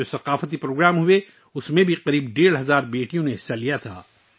تقریباً ڈیڑھ ہزار بیٹیوں نے ان ثقافتی پروگراموں میں حصہ لیا